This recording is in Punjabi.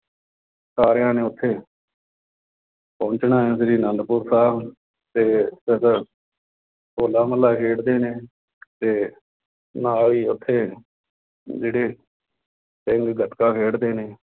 ਸਾਰਿਆਂ ਨੇ ਉੱਥੇ ਪਹੁੰਚਣਾ ਹੈ ਸ਼੍ਰੀ ਆਨੰਦਪੁਰ ਸਾਹਿਬ ਅਤੇ ਜਦੋਂ ਹੋਲਾ ਮਹੱਲਾ ਖੇਡਦੇ ਨੇ ਅਤੇ ਨਾਲ ਹੀ ਉੱਥੇ ਜਿਹੜੇ ਸਿੰਘ ਗੱਤਕਾ ਖੇਡਦੇ ਨੇ